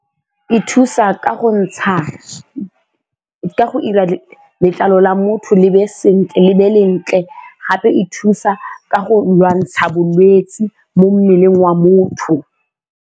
E thusa ka go ntsha, ka go 'ira letlalo la motho le be le ntle gape e thusa ka go lwantsha bolwetse mo mmeleng wa motho.